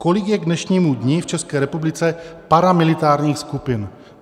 Kolik je k dnešnímu dni v České republice paramilitárních skupin?